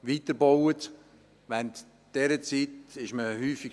Während dieser Zeit stand man häufig.